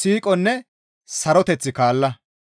siiqonne saroteth kaalla.